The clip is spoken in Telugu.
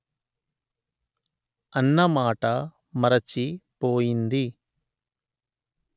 అన్న మాట మరచి పోయింది